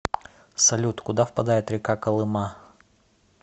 салют куда впадает река колыма